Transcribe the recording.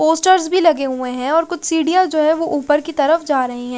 Posters भी लगे हुए हैं और कुछ सीढ़ियां जो है वो ऊपर की तरफ जा रही है।